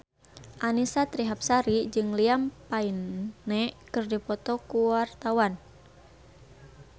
Annisa Trihapsari jeung Liam Payne keur dipoto ku wartawan